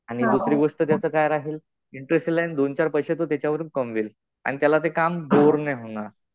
आणि दुसरी गोष्ट त्याच काय राहते मग इंटरेस्ट हि राहील. दोन-चार पैशे कमवेल. आणि त्याला ते काम बोअर नाही होणार.